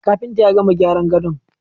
Kafintan ya gama gyaran gadon